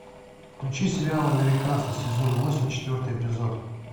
включи сериал американцы сезон восемь четвертый эпизод